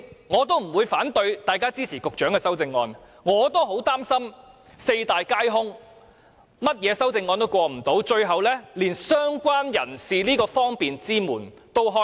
我不會反對大家支持局長的修正案，我也擔心會四大皆空，所有修正案都無法通過，最後連"相關人士"這扇方便之門也無法打開。